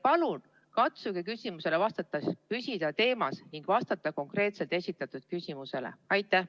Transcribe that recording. Palun katsuge küsimusele vastates püsida teemas ning vastata esitatud küsimusele konkreetselt.